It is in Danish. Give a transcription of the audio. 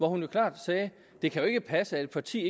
hun klart det kan jo ikke passe at et parti